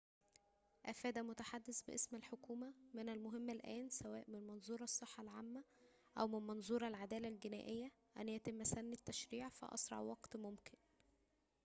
أفاد متحدثٌ باسم الحكومة من المهم الآن سواءً من منظور الصّحة العامّة أو من منظور العدالة الجنائية أن يتمّ سنّ التّشريع في أسرع وقتٍ ممكنٍ